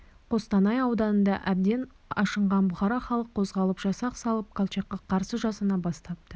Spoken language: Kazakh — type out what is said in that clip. қостанай ауданында әбден ашынған бұқара халық қозғалып жасақ салып колчакқа қарсы жасана бастапты